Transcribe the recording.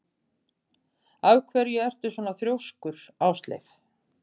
Af hverju ertu svona þrjóskur, Ásleif?